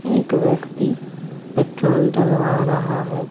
एक व्यक्ति पेट्रोल डलवा रहा है।